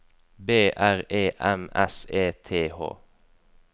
B R E M S E T H